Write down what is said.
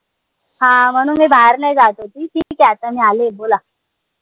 हा म्हणून मी बाहेर नाई जात होती ठीक आय आता मी आलीय बोला